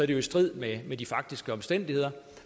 det jo i strid med de faktiske omstændigheder